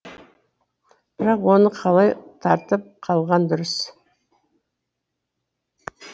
бірақ оны қалай тартып қалған дұрыс